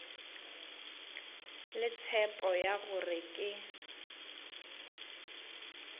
le tshepo ya gore ke